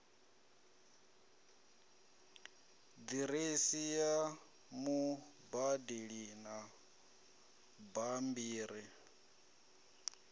diresi ya mubadeli na bambiri